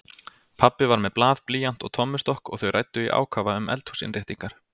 Pabbi var með blað, blýant og tommustokk og þau ræddu í ákafa um eldhúsinnréttingar.